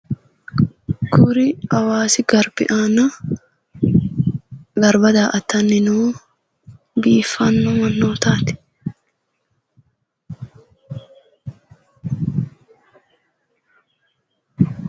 Kuri awaasi garbbi aana garbba daa"attanni noo biiffaanno mannootaati